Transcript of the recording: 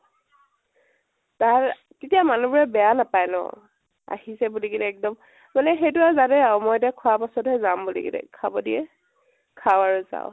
তাৰ তেতিয়া মানুহ বোৰে বেয়া নাপায় ন । আহিছে বুলি কেনে এক্দম, মানে সেইতো আৰু জানে আৰু। মই এতিয়া খুৱা পিছতহে যাম বুলি কেনে, খাব দিয়ে । খাওঁ আৰু যাওঁ